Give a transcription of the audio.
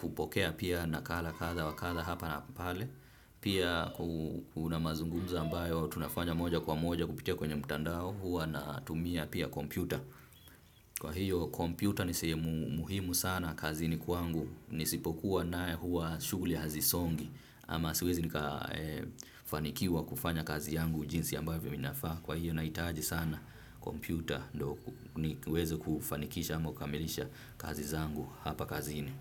kupokea pia nakala kadha wa kadha hapa na pale. Pia kuna mazungunzo ambayo tunafanya moja kwa moja kupitia kwenye mtandao huwa natumia pia kompyuta. Kwahiyo kompyuta ni sehemu muhimu sana kazini kwangu nisipokuwa nayo huwa shughuli hazisongi ama siwezi nika fanikiwa kufanya kazi yangu jinsi ambavyo inafaa, kwahiyo nahitaji sana kompyuta ndo niweze kufanikisha ama kukamilisha kazi zangu hapa kazini.